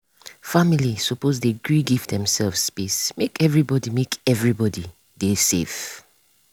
family suppose dey gree give demsef space make everybody make everybody dey safe.